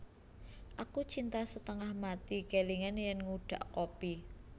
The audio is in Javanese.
Aku cinta setengah mati kelingan yen ngudhak kopi